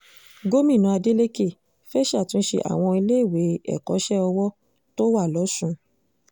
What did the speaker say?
gómìnà adeleke fẹ́ẹ́ ṣàtúnṣe àwọn iléèwé ẹ̀kọ́ṣẹ́ ọwọ́ tó wà lọ́sùn